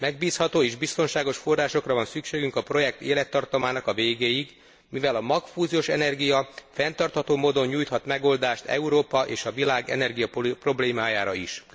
Megbízható és biztonságos forrásokra van szükségünk a projekt élettartamának a végéig, mivel a magfúziós energia fenntartható módon nyújthat megoldást Európa és a világ energiaproblémájára is.